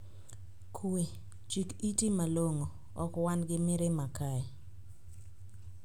Kuwe, "Chik iti malong'o, ok wan gi mirima kae".